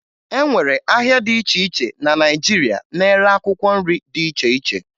E nwere ahịa dị iche iche na Naịjirịa na-ere akwụkwọ nri dị iche iche